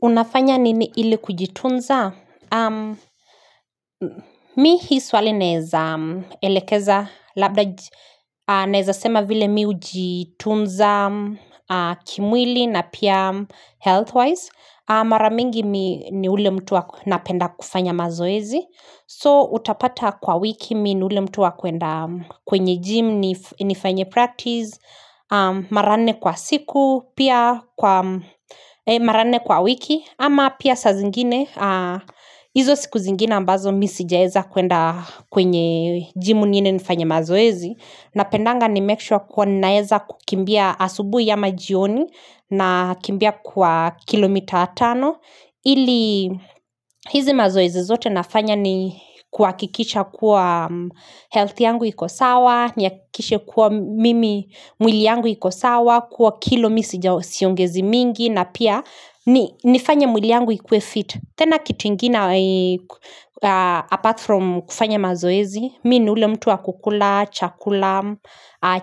Unafanya nini ili kujitunza? Mi hii swali naeza elekeza, labda naeza sema vile mi ujitunza kimwili na pia health-wise. Maramingi ni ni ule mtuwa napenda kufanya mazoezi. So, utapata kwa wiki, mi ni ule mtuwa kuenda kwenye gym, nif nifanye practice, mara nne kwa siku, pia kwa maranne kwa wiki. Ama pia sa zingine, izo siku zingine ambazo misi jaeza kuenda kwenye jimu niende nifanye mazoezi na pendanga ni make sure kuwa naeza kukimbia asubui amajioni na kimbia kwa kilomita tano ili hizi mazoezi zote nafanya ni kuakikisha kuwa health yangu iko sawa Niakishe kuwa mimi mwili yangu iko sawa, kuwa kilomisija siongezi mingi na pia nifanye mwili yangu ikue fit tena kitingine apart from kufanya mazoezi Mi ni ule mtu wa kukula chakula